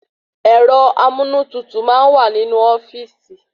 Ẹ̀rọ amúnútutù máa n wa ninu ofíìsì